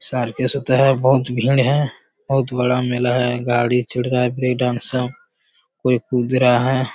साल बहुत भीड़ हैं बहुत बड़ा मेला है गाड़ी चढ़ रहा है ब्रेकडांस सब कोई कूद रहा है ।